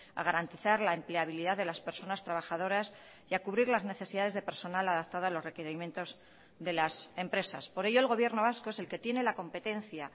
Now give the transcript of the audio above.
a garantizar la empleabilidad de las personas trabajadoras y a cubrir las necesidades de personal adaptada a los requerimientos de las empresas por ello el gobierno vasco es el que tiene la competencia